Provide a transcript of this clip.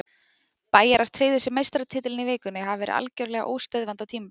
Bæjarar tryggðu sér meistaratitilinn í vikunni og hafa verið algjörlega óstöðvandi á tímabilinu.